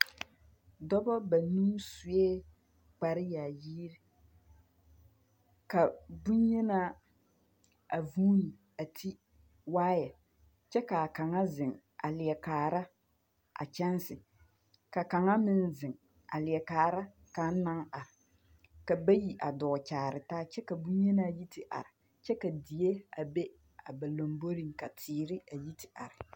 Dɔbɔ banuu sue kparyaayir, ka bonyenaa a vuuni a ti waayɛkyɛ k'a kaŋa zeŋ a leɛ kaara a kyɛnse. Ka kaŋa meŋ zeŋ a leɛ kaara kaŋ naŋ ar. Ka bayi a dɔɔ kyaare taa kyɛ ka bonyenaa yi te ar kyɛ ka die a be a ba lamboriŋ ka teere a yi te ar.